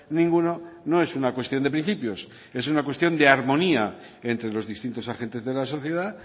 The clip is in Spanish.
ninguno no es una cuestión de principios es una cuestión de armonía entre los distintos agentes de la sociedad